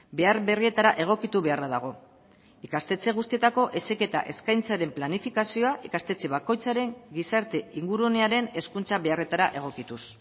behar berrietara egokitu beharra dago ikastetxe guztietako heziketa eskaintzaren planifikazioa ikastetxe bakoitzaren gizarte ingurunearen hezkuntza beharretara egokituz